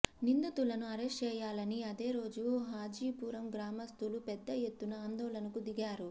నిందితులను అరెస్టు చేయాలని అదేరోజు హాజిపురం గ్రామస్థులు పెద్ద ఎత్తు న ఆందోళనకు దిగారు